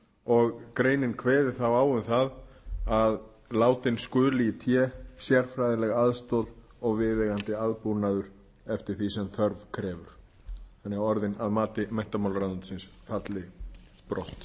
og greinin kveði þá á um það að látin skuli í té sérfræðileg aðstoð og viðeigandi aðbúnaður eftir því sem þörf krefur þannig að orðin að mati menntamálaráðuneytisins falli brott og